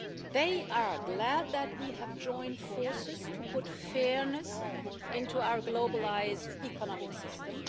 They are glad that we have joined forces to put fairness into our globalised economic system.